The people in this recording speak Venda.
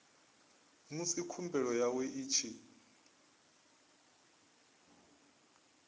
musi khumbelo yawe i tshi